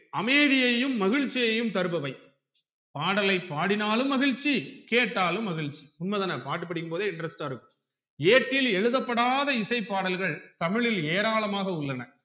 அமைதியையும் மகிழ்ச்சியையும் தருபவை பாடலை பாடினாலும் மகிழ்ச்சி கேட்டாலும் மகிழ்ச்சி உண்மைதான பாட்டு படிக்கும்போதே interest ஆ இருக்கும் ஏட்டில் எழுத படாத இசை பாடல்கள் தமிழில் ஏராளமாக உள்ளன